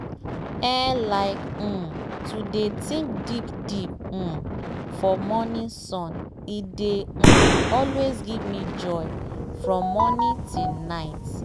eehi like um to dey think deep deep um for morning sun e dey um always give me joy from morning till night.